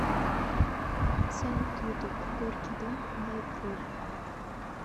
салют ютуб горький дым дай воли